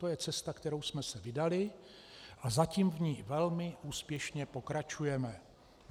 To je cesta, kterou jsme se vydali, a zatím v ní velmi úspěšně pokračujeme.